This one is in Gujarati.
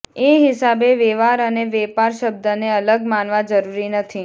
એ હિસાબે વેવાર અને વેપાર શબ્દને અલગ માનવા જરૂરી નથી